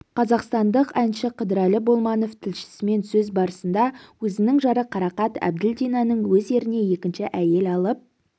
қазақстандық әнші қыдырәлі болманов тілшісімен сөз барысында өзінің жары қарақат әбділдинаның өз еріне екінші әйел алып